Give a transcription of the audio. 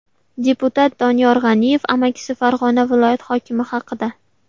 Deputat Doniyor G‘aniyev amakisi Farg‘ona viloyati hokimi haqida.